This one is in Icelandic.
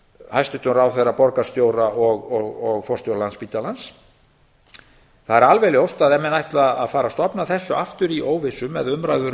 hæstvirtum ráðherra borgarstjóra og forstjóra landspítalans það er alveg ljóst að ef menn ætla að fara að stofna þessu aftur í óvissu með